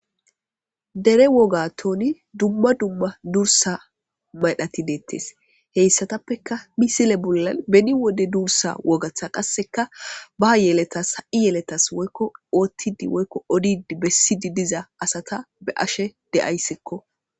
dere woga tooni dumma dumma duursa maydhati deettes heyssatappeka misile bollan beni wode duursa wogatha qasseka ba yeletas ha7i yeletas woykko oothtidi woykko odidi bessidi diza asata be ashe de7ayssikko